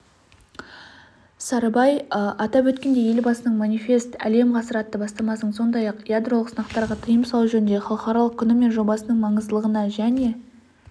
сарыбай атап өткендей елбасының манифест әлем ғасыр атты бастамасының сондай-ақ ядролық сынақтарға тыйым салу жөніндегі халықаралық күні мен жобасының маңыздылығына және